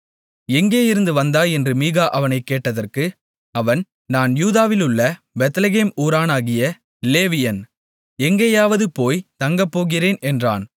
எங்கே இருந்து வந்தாய் என்று மீகா அவனைக் கேட்டதற்கு அவன் நான் யூதாவிலுள்ள பெத்லெகேம் ஊரானாகிய லேவியன் எங்கேயாவது போய்த் தங்கப்போகிறேன் என்றான்